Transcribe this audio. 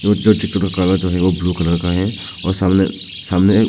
जो चित्र का कलर जो है वो ब्लू कलर का है सामने सामने--